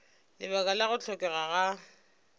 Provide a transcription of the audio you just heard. lebaka la go hlokega ga